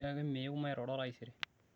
tiaki meyeu mairoro taisere